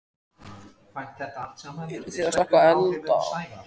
Erla Björg: Eruð þið að slökkva elda?